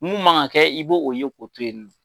Mun man kan kɛ i bɛ o ye k'o to yen nɔ.